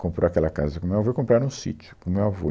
Comprou aquela casa com o meu avô e compraram um sítio com o meu avô.